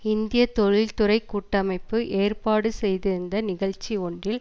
இந்திய தொழில் துறை கூட்டமைப்பு ஏற்பாடு செய்திருந்த நிகழ்ச்சி ஒன்றில்